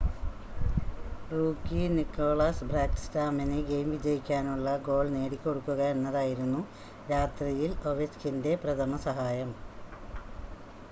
rookie Niklas ബാക്ക്സ്ട്രോമിന് game വിജയിക്കാനുള്ള goal നേടിക്കൊടുക്കുക എന്നതായിരുന്നു രാത്രിയിൽ ഒവെച്ച്കിൻ്റെ പ്രഥമ സഹായം